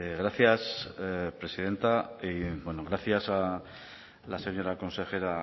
gracias presidenta y bueno gracias a la señora consejera